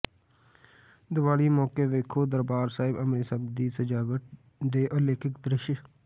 ਦੀਵਾਲੀ ਮੌਕੇ ਵੇਖੋ ਦਰਬਾਰ ਸਾਹਿਬ ਅੰਮ੍ਰਿਤਸਰ ਦੀ ਸਜਾਵਟ ਦੇ ਅਲੌਕਿਕ ਦ੍ਰਿਸ਼